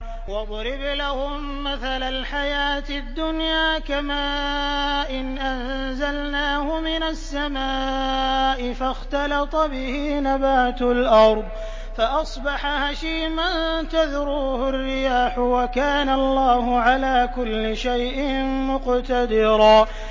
وَاضْرِبْ لَهُم مَّثَلَ الْحَيَاةِ الدُّنْيَا كَمَاءٍ أَنزَلْنَاهُ مِنَ السَّمَاءِ فَاخْتَلَطَ بِهِ نَبَاتُ الْأَرْضِ فَأَصْبَحَ هَشِيمًا تَذْرُوهُ الرِّيَاحُ ۗ وَكَانَ اللَّهُ عَلَىٰ كُلِّ شَيْءٍ مُّقْتَدِرًا